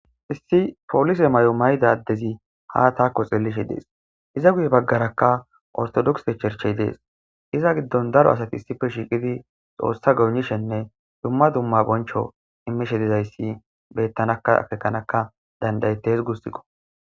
issi poolse mayo mayida addezi haa taakko xeellishe des;iza guye baggarakka ortodogse cherche des;iza giddon daro asati issippe shiiqidi xoossa goynishenne dumma dumma boncho immishe dizayssi beetanakka etakanakka dandda7etes guusikko.